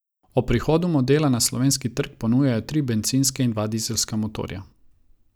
Ob prihodu modela na slovenski trg ponujajo tri bencinske in dva dizelska motorja.